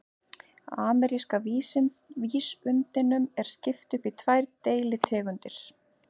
Ameríska vísundinum er skipt upp í tvær deilitegundir.